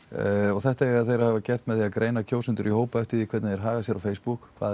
þetta eiga þeir að hafa gert með því að greina kjósendur í hópa eftir því hvernig þeir haga sér á Facebook hvað